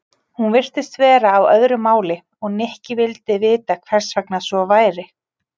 Hún virtist vera á öðru máli og Nikki vildi vita hvers vegna svo væri.